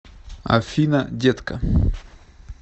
афина детка